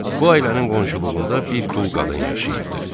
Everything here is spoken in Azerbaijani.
Bu ailənin qonşuluğunda bir dul qadın yaşayırdı.